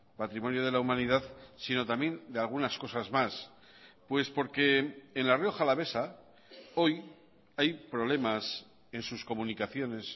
patrimonio de la humanidad sino también de algunas cosas más pues por que en la rioja alavesa hoy hay problemas en sus comunicaciones